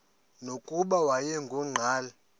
nokuba wayengu nqal